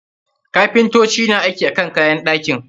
Kapintocin na aiki akan kayan ɗakin ka.